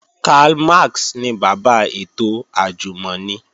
Karl Max ni bàbá ètò àjùmọ̀ni